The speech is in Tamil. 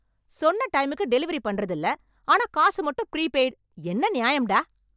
சொன்ன டைமுக்கு டெலிவரி பண்றது இல்ல ஆனா காசு மட்டும் ப்ரீபெய்ட், என்ன நியாயம் டா?